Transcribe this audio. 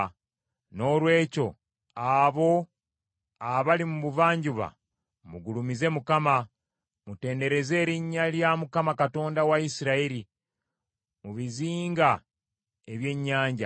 Noolwekyo abo abali mu buvanjuba mugulumize Mukama , mutendereze erinnya lya Mukama Katonda wa Isirayiri, mu bizinga eby’ennyanja.